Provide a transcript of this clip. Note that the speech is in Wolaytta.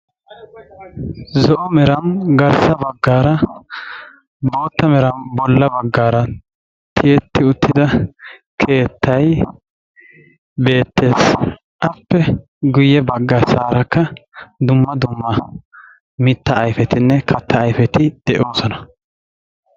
Zo'o meran garssa baggaara bootta meran bolla baggaara tiyetti uttida keettay beettees. Appe guyye baggassaarakka dumma dumma mittaa ayfetinne kattaa ayfeti de'oosona.